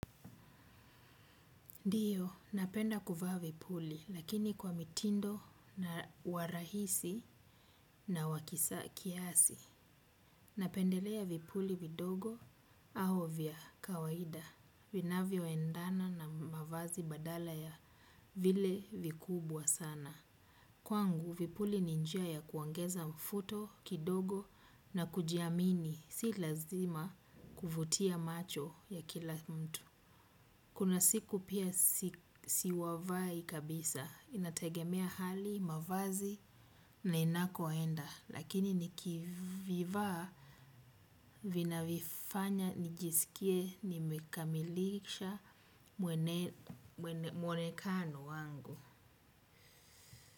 Ndiyo napenda kuvaa vipuli lakini kwa mtindo wa rahisi na wa kiasi. Napendelea vipuli vidogo, au vya kawaida. Vinavyo endana na mavazi badala ya vile vikubwa sana. Kwangu, vipuli ni njia ya kuongeza mvuto, kidogo na kujiamini, si lazima kuvutia macho ya kila mtu. Kuna siku pia sivai kabisa. Inategemea hali, mavazi na inakoenda. Lakini nikivivaa vina vifanya nijisikie nimekamilisha mwonekano wangu.